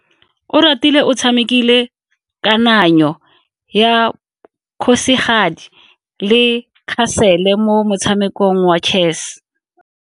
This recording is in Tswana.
Oratile o tshamekile kananyo ya kgosigadi le khasele mo motshamekong wa chess.